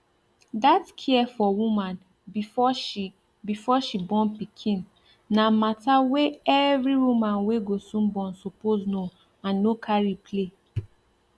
that care for woman before she before she born pikin na matter wey every woman wey go soon born suppose know and no carry play